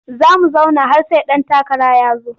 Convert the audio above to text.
Za mu zauna har sai ɗan takara ya zo.